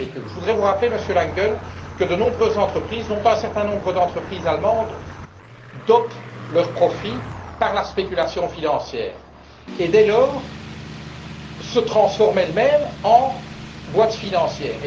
Trouvez vous cela normal? Je voudrais vous rappeler, Monsieur Langen, que de nombreuses entreprises, dont un certain nombre d'entreprises allemandes, dopent leurs profits par la spéculation financière et, dès lors, se transforment elles mêmes en entreprises financières.